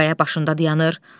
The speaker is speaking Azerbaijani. Qaya başında dayanır.